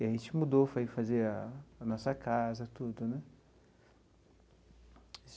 E a gente mudou, foi fazer a a nossa casa, tudo, né?